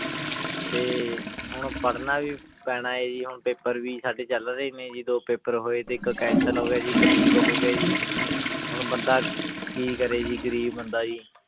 ਤੇ ਹੁਣ ਪੜ੍ਹਨਾ ਵੀ ਪੈਣਾ ਹੈ ਜੀ ਹੁਣ paper ਵੀ ਸਾਡੇ ਚੱਲ ਰਹੇ ਨੇ ਜੀ ਦੋ paper ਹੋਏ ਤੇ ਇੱਕ cancel ਹੋ ਗਿਆ ਜੀ ਇੱਕ leak ਹੋ ਗਿਆ ਜੀ ਹੁਣ ਬੰਦਾ ਕੀ ਕਰੇ ਜੀ ਗ਼ਰੀਬ ਬੰਦਾ ਜੀ